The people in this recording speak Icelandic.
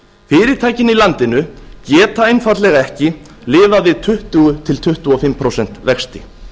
fyrirtækin í landinu geta einfaldlega ekki lifað við tuttugu til tuttugu og fimm prósent vexti